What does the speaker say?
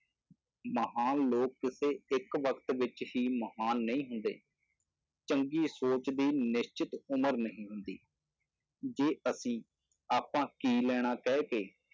ਮਹਾਨ ਲੋਕ ਕਿਸੇ ਇੱਕ ਵਕਤ ਵਿੱਚ ਹੀ ਮਹਾਨ ਨਹੀਂ ਹੁੰਦੇ, ਚੰਗੀ ਸੋਚ ਦੀ ਨਿਸ਼ਚਿਤ ਉਮਰ ਨਹੀਂ ਹੁੰਦੀ, ਜੇ ਅਸੀਂ ਆਪਾਂ ਕੀ ਲੈਣਾ ਕਹਿ ਕੇ